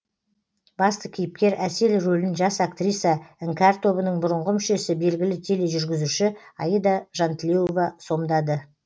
басты кейіпкер әсел рөлін жас актриса іңкәр тобының бұрынғы мүшесі белгілі тележүргізуші аида жантілеуова сомдады